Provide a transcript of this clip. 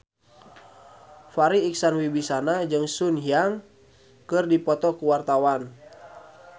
Farri Icksan Wibisana jeung Sun Yang keur dipoto ku wartawan